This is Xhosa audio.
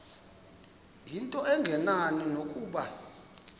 into engenani nokuba